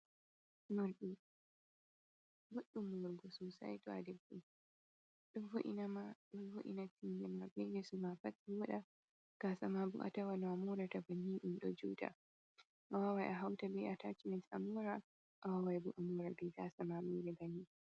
Morɗi, boɗɗum morugo sosai to a debbo ɗon vo'inama ɗon vo'ina ɓinglma be yeesoma pat vooɗa, gaasama bo a tawan no amoorata banni ɗum ɗo juuta, awawan a hauta be atachimen amoora, awawan a moora be gaasama banni.